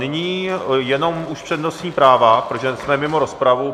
Nyní jenom už přednostní práva, protože jsme mimo rozpravu.